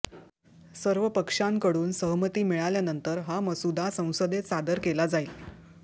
सर्व पक्षांकडुन सहमती मिळाल्यानंतर हा मसुदा संसदेत सादर केला जाईल